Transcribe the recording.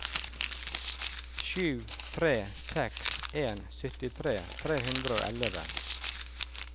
sju tre seks en syttitre tre hundre og elleve